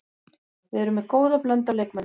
Við erum með góða blöndu af leikmönnum.